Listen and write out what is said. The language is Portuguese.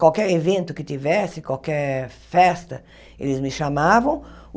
Qualquer evento que tivesse, qualquer festa, eles me chamavam.